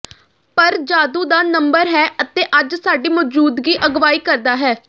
ਪਰ ਜਾਦੂ ਦਾ ਨੰਬਰ ਹੈ ਅਤੇ ਅੱਜ ਸਾਡੀ ਮੌਜੂਦਗੀ ਅਗਵਾਈ ਕਰਦਾ ਹੈ